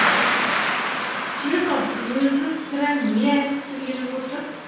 чехов өзі сірә не айтқысы келіп отыр